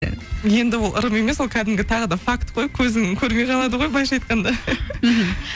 енді ол ырым емес ол кәдімгі тағы да факт қой көзің көрмей қалады ғой былайынша айтқанда мхм